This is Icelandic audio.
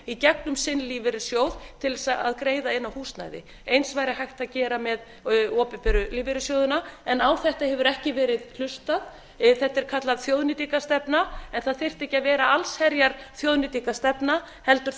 í gegnum sinn lífeyrissjóð til þess að greiða inn á húsnæði eins væri hægt að gera með opinberu lífeyrissjóðina en á þetta hefur ekki verið hlustað þetta er kallað þjóðnýtingarstefna en það þyrfti ekki að vera allsherjar þjóðnýtingarstefna heldur